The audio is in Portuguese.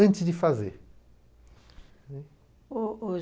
antes de fazer, né. Ôh ôh